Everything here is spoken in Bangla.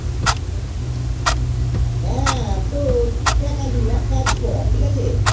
হেঁ এব্য দেখ আলু একটা কাজ কর ঠিক আছে